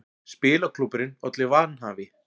Spilaklúbburinn olli vanhæfi